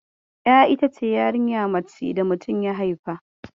Ƴa ita ce yarinya mace da mutum ya haifa.